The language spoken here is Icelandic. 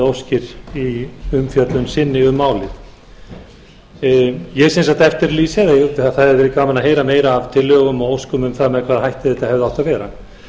óskir í umfjöllun sinni um málið ég er sem sagt að eftirlýsa að það hefði verið gaman að heyra meira af tillögum og óskum um það með hvaða hætti þetta hefði átt að vera það